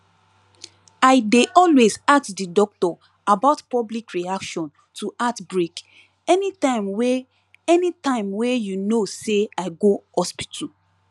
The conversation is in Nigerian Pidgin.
i dey always ask the doctor about public reaction to outbreak anytym wey anytym wey you know say i go hospital